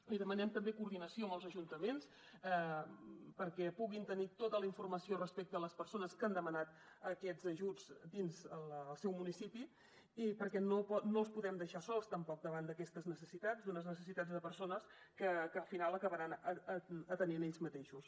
li demanem també coordinació amb els ajuntaments perquè puguin tenir tota la informació respecte a les persones que han demanat aquests ajuts dins el seu municipi i perquè no els podem deixar sols tampoc davant d’aquestes necessitats d’unes necessitats de persones que al final acabaran atenent ells mateixos